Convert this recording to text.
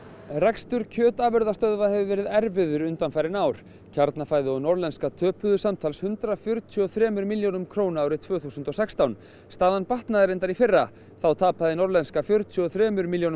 rekstur kjötafurðastöðva hefur verið erfiður undanfarin ár Kjarnafæði og Norðlenska töpuðu samtals hundrað fjörutíu og þremur milljónum króna árið tvö þúsund og sextán staðan batnaði reyndar í fyrra þá tapaði Norðlenska fjörutíu og þremur milljónum